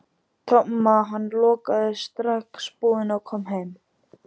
Tomma, hann lokaði strax búðinni og kom heim.